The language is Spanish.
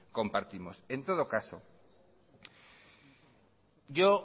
compartimos en todo caso yo